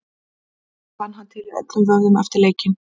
Auðvitað fann hann til í öllum vöðvum eftir leikinn.